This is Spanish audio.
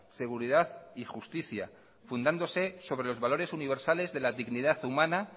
seguridad y justicia fundándose sobre los valores universales de la dignidad humana